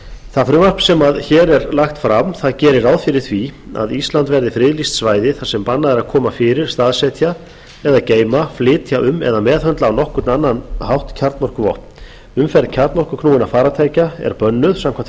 það frumvarp sem hér er lagt fram gerir ráð fyrir því að ísland verði friðlýst svæði þar sem bannað er að koma fyrir staðsetja eða geyma flytja um eða meðhöndla á nokkurn annan hátt kjarnorkuvopn umferð kjarnorkuknúinna farartækja er bönnuð samkvæmt